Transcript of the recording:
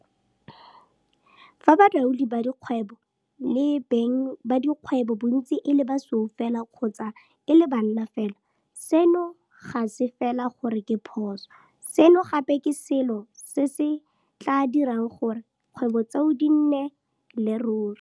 Fa balaodi ba dikgwebo le beng ba dikgwebo bontsi e le basweu fela kgotsa e le banna fela, seno ga se fela gore ke phoso, seno gape ke selo se se tla dirang gore 'kgwebo tseo di se nnele ruri.